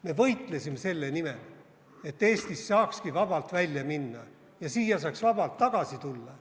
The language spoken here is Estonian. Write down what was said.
Me võitlesime selle nimel, et Eestist saakski vabalt välja minna ja siia saaks vabalt tagasi tulla.